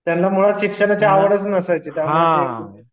त्यांना मुळात शिक्षणाची आवडच नसायची त्यामुळं ते